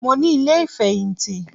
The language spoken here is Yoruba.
Mo ní ilé ìfẹ̀yìntì